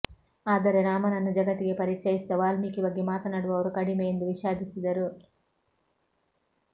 ಆದರೆ ರಾಮನನ್ನು ಜಗತ್ತಿಗೆ ಪರಿಚಯಿಸಿದ ವಾಲ್ಮೀಕಿ ಬಗ್ಗೆ ಮಾತನಾಡುವವರು ಕಡಿಮೆ ಎಂದು ವಿಷಾದಿಸಿದರು